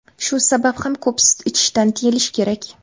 Shu sabab ham ko‘p sut ichishdan tiyilish kerak.